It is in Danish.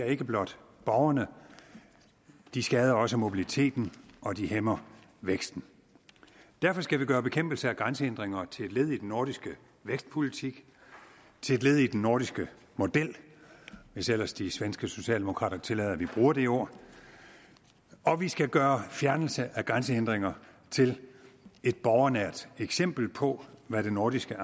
ikke blot borgerne de skader også mobiliteten og de hæmmer væksten derfor skal vi gøre bekæmpelse af grænsehindringer til et led i den nordiske vækstpolitik til et led i den nordiske model hvis ellers de svenske socialdemokrater tillader at vi bruger det ord og vi skal gøre fjernelse af grænsehindringer til et borgernært eksempel på hvad det nordiske